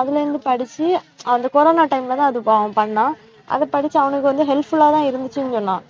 அதுல இருந்து படிச்சு அந்த corona time லதான் அது ப~ பண்ணான், அதை படிச்சு அவனுக்கு வந்து helpful ஆதான் இருந்துச்சுன்னு சொன்னான்